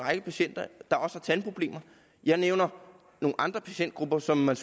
række patienter der også har tandproblemer jeg nævner nogle andre patientgrupper som man